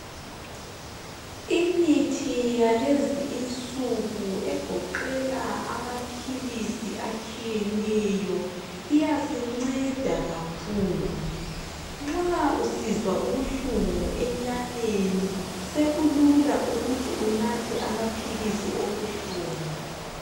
Imithi yalezi insuku egoqela amaphilisi atshiyeneyo, iyasinceda kakhulu. Nxa usizwa ubuhlungu enyameni sekulula ukuthi unathe amaphilisi obuhlungu.